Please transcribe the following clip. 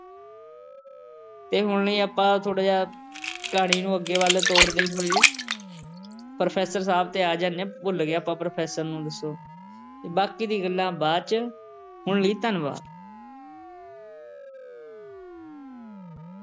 ਅਤੇ ਹੁਣ ਬਈ ਆਪਾਂ ਥੋੜ੍ਹਾ ਜਿਹਾ ਕਹਾਣੀ ਨੂੰ ਅੱਗੇ ਵੱਲ ਤੋਰਦੇ ਹੋਏ professor ਸਾਹਬ ਤੇ ਆ ਜਾਂਦੇ ਹਾਂ। ਭੁੱਲ ਗਏ ਆਪਾਂ professor ਨੂੰ ਦੱਸੋ ਅਤੇ professor ਬਾਕੀ ਦੀਆਂ ਗੱਲਾਂ ਬਾਅਦ ਚ ਹੁਣ ਲਈ ਧੰਨਵਾਦ।